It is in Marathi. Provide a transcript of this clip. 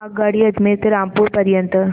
आगगाडी अजमेर ते रामपूर पर्यंत